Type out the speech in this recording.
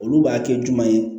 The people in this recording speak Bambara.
Olu b'a kɛ jumɛn ye